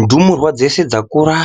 Ndumurwa dzeshe dzakura,